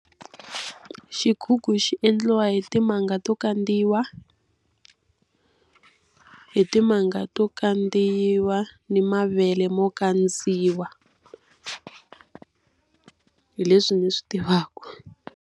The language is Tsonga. Xigugu xi endliwa hi timanga to kandzeriwa, hi timanga to kandzeriwa na mavele mo kandziwa. Hi leswi ni swi tivaka.